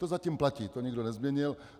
To zatím platí, to nikdo nezměnil.